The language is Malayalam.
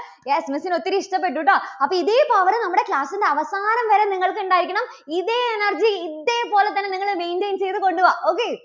yes miss ന് ഒത്തിരി ഇഷ്ടപ്പെട്ടു കേട്ടോ. അപ്പോൾ ഇതേ power നിമ്മുടെ class ന്റെ അവസാനം വരെ നിങ്ങൾക്കുണ്ടായിരിക്കണം. ഇതേ energy ഇതേപോലെ തന്നെ നിങ്ങള് maintain ചെയ്തുകൊള്ളുക. okay